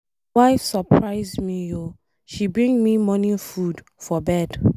My wife surprise me oo, she bring me morning food for bed.